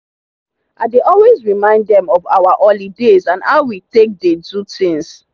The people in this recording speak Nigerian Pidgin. i dey always remind dem of our holidays and how we take dey do things.